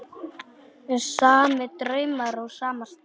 Sami draumur á sama stað.